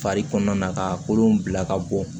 Fari kɔnɔna ka kolon bila ka bɔn